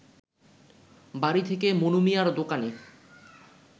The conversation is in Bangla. বাড়ি থেকে মনুমিয়ার দোকানে